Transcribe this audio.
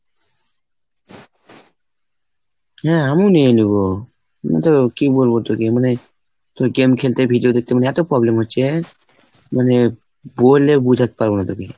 হ্যাঁ আমিও নিয়ে নেবো। কিন্তু কি বলবো তোকে? মানে তুই game খেলতে video দেখতে মানে এতো problem হচ্ছে মানে বলে বোঝাতে পারবো না তোকে।